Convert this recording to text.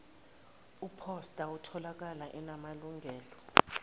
iphosta etholakalayo enamalungelo